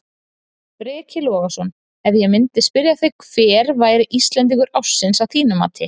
Breki Logason: Ef ég myndi spyrja þig hver væri Íslendingur ársins að þínu mati?